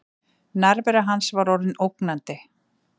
Nærvera hans var orðin ógnandi.